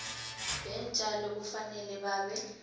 yeentjalo kufanele babe